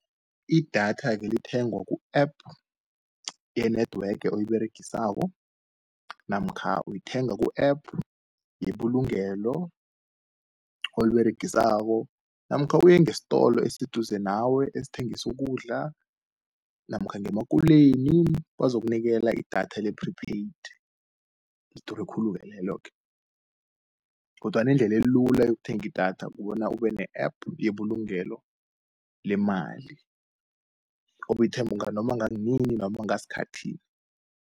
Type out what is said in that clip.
Idatha-ke ulithengwa ku-app ye-Network oyiberegisako, namkha uyithenga ku-app yebulugelo oliberegisako, namkha uyengestolo eseduze nawe, esithengisu ukudla, namkha ngemakuleni. Bazokunikela idatha le-pre-paid, lidure khulu leloke, kodwana indlelelula yokuthenga idatha kobona ube ne-App yebulugelo lemali, noma ngaskhathi